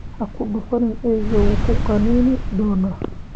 Ha ku dhufan eeyga, wuu ku qaniini doonaa